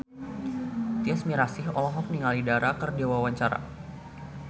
Tyas Mirasih olohok ningali Dara keur diwawancara